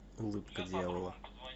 улыбка дьявола